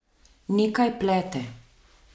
Nekaj plete.